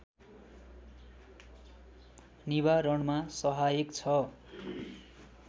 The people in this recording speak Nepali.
निवारणमा सहायक छ